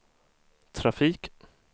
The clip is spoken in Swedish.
trafik